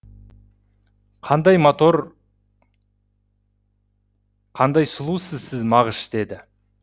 қандай матор қандай сұлусыз сіз мағыш деді